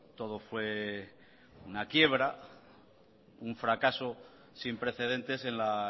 todo fue una quiebra un fracaso sin precedentes en la